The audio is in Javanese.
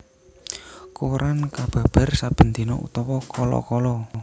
Koran kababar saben dina utawa kala kala